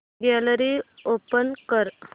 gallery open कर